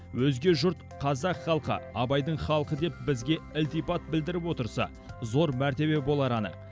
өзге жұрт қазақ халқы абайдың халқы деп бізге ілтипат білдіріп отырса зор мәртебе болары анық